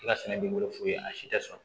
I ka sɛnɛ b'i bolo f'u ye a si tɛ sɔrɔ